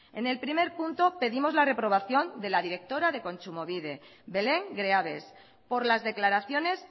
en el primer punto pedimos la reprobación de la directora de kontsumobide belén greaves por las declaraciones